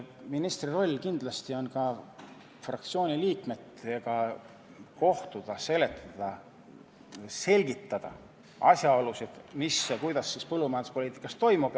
Ministri roll on kindlasti ka fraktsiooni liikmetega kohtuda, selgitada asjaolusid, mis ja kuidas põllumajanduspoliitikas toimub.